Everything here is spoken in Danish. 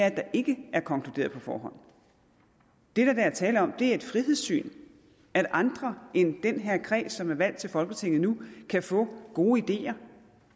at der ikke er konkluderet på forhånd det der er tale om er et frihedssyn at andre end den her kreds som er valgt til folketinget nu kan få gode ideer